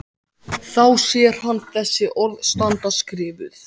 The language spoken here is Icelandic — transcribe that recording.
Þá sér hann þessi orð standa skrifuð: